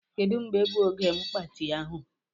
Kedu mgbe bụ oge mgbatị ahụ.